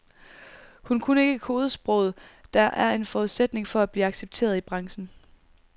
Hun kunne ikke kodesproget, der er en forudsætning for at blive accepteret i branchen.